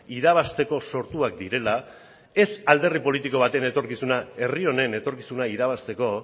irabazteko sortuak direla ez alderdi politiko baten etorkizuna herri honen etorkizuna irabazteko